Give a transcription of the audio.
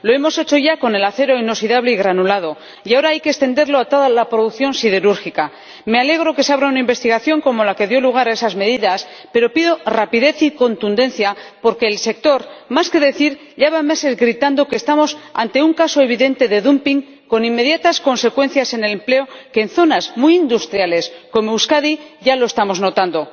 Lo hemos hecho ya con el acero inoxidable granulado y ahora hay que extenderlo a toda la producción siderúrgica. Me alegro de que se abra una investigación como la que dio lugar a esas medidas, pero pido rapidez y contundencia porque el sector, más que decir, lleva meses gritando que estamos ante un caso evidente de dumping con inmediatas consecuencias en el empleo que, en zonas muy industriales, como Euskadi, ya estamos notando.